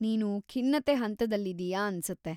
ನೀನು ಖಿನ್ನತೆ ಹಂತದಲ್ಲಿದೀಯ ಅನ್ಸುತ್ತೆ.